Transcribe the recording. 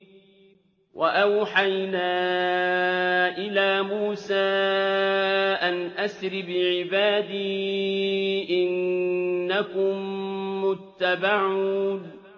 ۞ وَأَوْحَيْنَا إِلَىٰ مُوسَىٰ أَنْ أَسْرِ بِعِبَادِي إِنَّكُم مُّتَّبَعُونَ